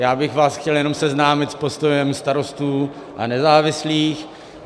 Já bych vás chtěl jenom seznámit s postojem Starostů a nezávislých.